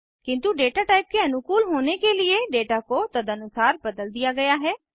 किन्तु data type के अनुकूल होने के लिए डेटा को तदनुसार बदल दिया गया है